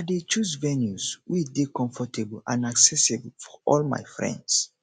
i dey choose venues wey dey comfortable and accessible for all my friends